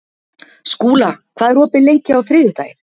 Skúla, hvað er opið lengi á þriðjudaginn?